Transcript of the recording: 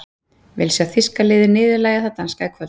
Vil sjá þýska liðið niðurlægja það danska í kvöld.